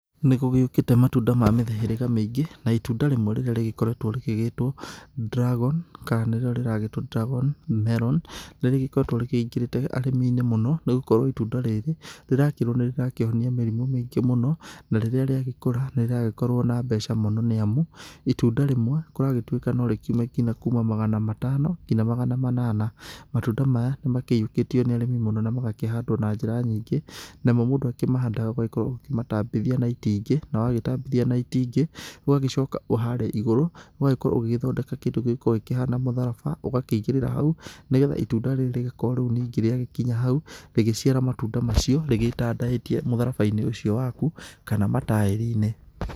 Nĩgũgĩũkĩte matunda ma mĩhĩrĩga mĩingi, na itunda rĩmwe rĩrĩa rĩgĩgĩkoretwo rĩgĩgĩtwo dragon, kana nĩrĩo rĩragĩtwo dragon melon nĩrĩgĩkoretwo rĩkĩingĩrĩte arĩmi-ini mũno nĩgũkorwo itunda rĩrĩ rĩrakĩrũo nĩ rĩrakĩhonia mĩrimu mĩingĩ mũno, na rĩrĩa rĩagĩkũra nĩ rĩragĩkorwo na mbeca mũno nĩamu itunda rimwe kũragĩtwĩka no rĩkiume nginya kuma magana matano nginya magana manana. Matunda maya nĩmakĩiyukĩtio nĩ arĩmi mũno na magakĩhandwo na njĩra nyingĩ, namo mũndũ akĩmahandaga ũgakorwo ũkĩmatambithia na itingĩ. Na wagĩtambithia na itingĩ ugagĩcoka harĩa igũrũ ũgagĩkorwo ũgĩgĩthondeka kĩndũ gĩgũgĩkorũo gĩkĩhana mũtharaba, ũgakĩigĩrĩra hau nĩ getha itunda rĩrĩ rĩgakorwo rĩagĩkinya hau rĩgĩciara matunda macio rĩgĩtandaĩtie mũtharaba-inĩ ũcio waku, kana mataĩri-inĩ.